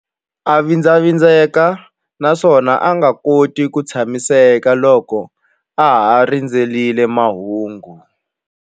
A vindlavindleka naswona a nga koti ku tshamiseka loko a ha rindzerile mahungu.